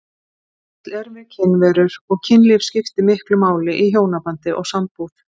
Öll erum við kynverur og kynlíf skiptir miklu máli í hjónabandi og sambúð.